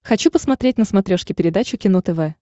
хочу посмотреть на смотрешке передачу кино тв